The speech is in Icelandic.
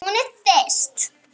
Hún er þyrst.